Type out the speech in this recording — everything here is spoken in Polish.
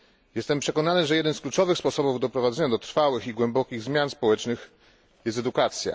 Jestem przekonany, że jednym z kluczowych sposobów doprowadzenia do trwałych i głębokich zmian społecznych jest edukacja.